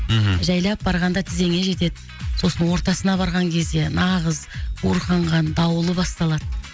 мхм жайлап барғанда тізеңе жетеді сосын ортасына барған кезде нағыз буырқанған дауылы басталады